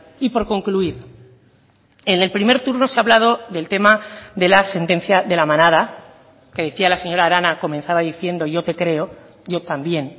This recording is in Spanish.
y por concluir en el primer turno se ha hablado del tema de la sentencia de la manada que decía la señora arana comenzaba diciendo yo te creo yo también